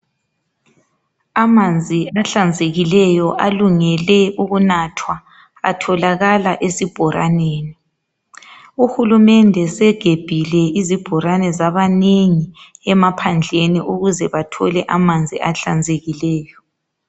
Amanzi ahlanzekileyo alungele ukunathwa atholakala esibhoraneni uhulumende segebhile izibhorane zabanengi emaphandleni ukuze bathole amanzi ahlanzekileyo